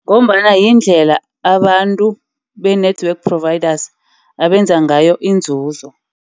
Ngombana yindlela abantu be-network providers abenza ngayo inzuzo.